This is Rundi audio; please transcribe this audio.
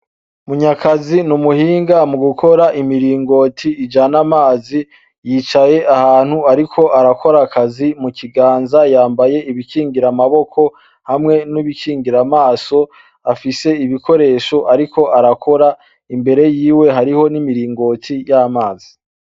Munyakazi n'umuhinga mugukora imiringoti ijana amazi, yicaye ahantu ariko arakora akazi, mu kiganza yambaye ibikingirira amaboko hamwe n'ibikingira amaso, afise ibikoresho ariko arakora imbere yiwe hariho n'imiringoti y'amazi.